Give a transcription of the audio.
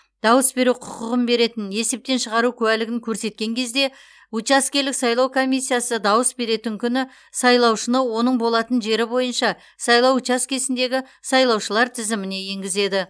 дауыс беру құқығын беретін есептен шығару куәлігін көрсеткен кезде учаскелік сайлау комиссиясы дауыс беретін күні сайлаушыны оның болатын жері бойынша сайлау учаскесіндегі сайлаушылар тізіміне енгізеді